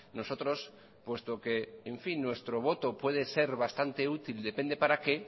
nuestro voto puede ser bastante útil depende para qué